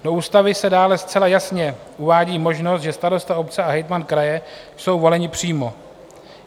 Do ústavy se dále zcela jasně uvádí možnost, že starosta obce a hejtman kraje jsou voleni přímo.